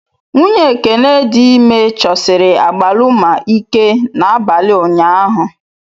Nwunye Ekene dị ime chọsiri agbaluma ike n'abalị ụnyahụ.